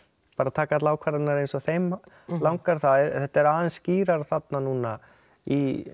taka allar ákvarðanirnar eins og þeim langar þetta er aðeins skýrara þarna núna í